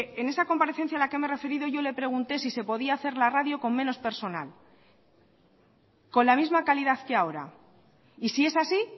en esa comparecencia en la que me he referido yo le pregunté si se podía hacer la radio con menos personal y con la misma calidad que ahora y si es así